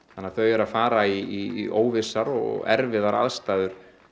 þannig að þau eru að fara í óvissar og erfiðar aðstæður